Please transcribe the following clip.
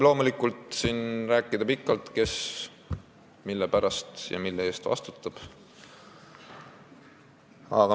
Loomulikult võib siin pikalt rääkida, kes mille eest vastutab.